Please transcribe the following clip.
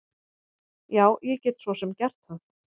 Já, ég get svo sem gert það.